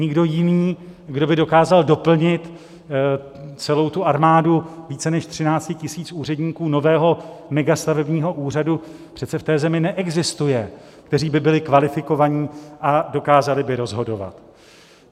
Nikdo jiný, kdo by dokázal doplnit celou tu armádu více než 13 000 úředníků nového megastavebního úřadu, přece v té zemi neexistuje, kteří by byli kvalifikovaní a dokázali by rozhodovat.